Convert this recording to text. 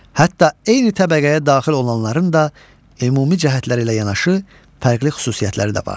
Hətta eyni təbəqəyə daxil olanların da ümumi cəhətləri ilə yanaşı fərqli xüsusiyyətləri də vardır.